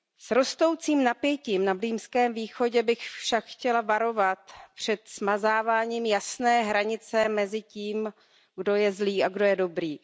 S rostoucím napětím na Blízkém východě bych však chtěla varovat před smazáváním jasné hranice mezi tím, kdo je zlý a kdo je dobrý.